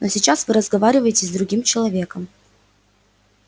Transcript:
но сейчас вы разговариваете с другим человеком